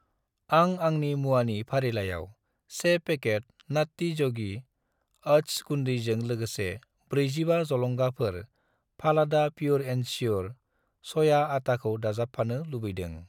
आं आंनि मुवानि फारिलाइयाव 1 पेकेट नात्ति य'गि अत्स गुन्दैजों लोगोसे 45 जलंगाफोर फालादा प्युर एन श्युर सया आटाखौ दाजाबफानो लुबैदों।